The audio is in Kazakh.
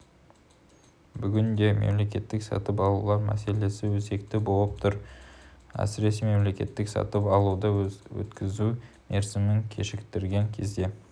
бүгінде мемлекеттік сатып алулар мәселесі өзекті болып тұр әсіресе мемлекетік сатып алуды өткізу мерзімін кешіктірген кезде